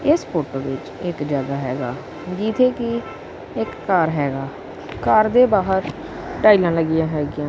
ਇਸ ਫੋਟੋ ਵਿੱਚ ਇੱਕ ਜਗਹਾ ਹੈਗਾ ਜਿੱਥੇ ਕਿ ਇੱਕ ਘਰ ਹੈਗਾ ਘਰ ਦੇ ਬਾਹਰ ਟਾਈਲਾਂ ਲੱਗੀਆਂ ਹੈਗੀਆਂ।